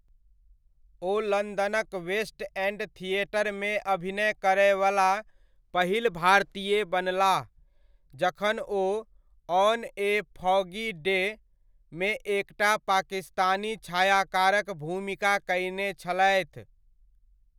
ओ लन्दनक West End थिएटरमे अभिनय करयवला पहिल भारतीय बनलाह, जखन ओ 'ऑन ए फॉगी डे' मे एकटा पाकिस्तानी छायाकारक भूमिका कयने छलथि।